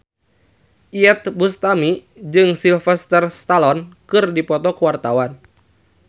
Iyeth Bustami jeung Sylvester Stallone keur dipoto ku wartawan